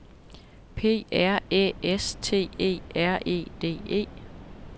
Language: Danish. P R Æ S T E R E D E